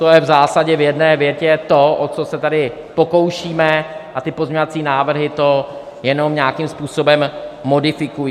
To je v zásadě v jedné větě to, o co se tady pokoušíme, a ty pozměňovací návrhy to jenom nějakým způsobem modifikují.